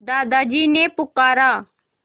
दादाजी ने पुकारा